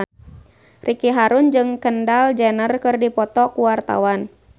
Ricky Harun jeung Kendall Jenner keur dipoto ku wartawan